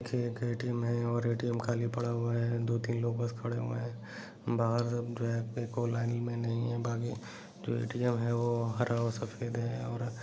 एक ए_टी_एम है और ए_टी_एम खाली पड़ा हुआ है दो-तीन लोग बस खड़े हुए है बाहर जो है एको लाइन में नहीं है बाकि जो ए_टी_एम है हरा और सफ़ेद है और--